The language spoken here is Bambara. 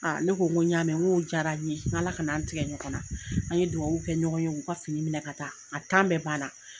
ne ko n ko y'a mɛ, n k'o diyara n ye, n k'Ala kan'an tigɛ ɲɔgɔn na. An ye duwawu kɛ ɲɔgɔn ye, u ka fini minɛ ka taa. A bɛɛ banna.